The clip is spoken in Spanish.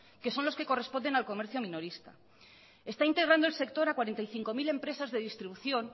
que son los que corresponden al comercio minorista está integrando el sector a cuarenta y cinco mil empresas de distribución